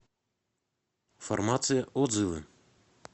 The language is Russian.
фармация отзывы